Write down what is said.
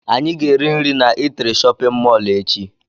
Anyị ga-eri nri na eatri shóppin mol echi.